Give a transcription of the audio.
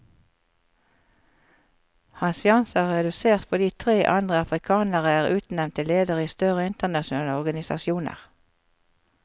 Hans sjanser er redusert fordi tre andre afrikanere er utnevnt til ledere i større internasjonale organisasjoner.